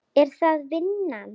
Er það vinnan?